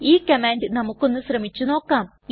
ഈ കമാൻഡ് നമുക്കൊന്ന് ശ്രമിച്ചു നോക്കാം